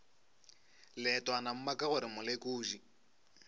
leetwana mma ka gore molekodi